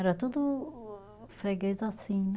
Era tudo freguês assim, né?